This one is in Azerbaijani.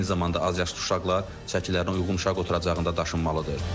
Eyni zamanda azyaşlı uşaqlar çəkilərinə uyğun uşaq oturacağında daşınmalıdır.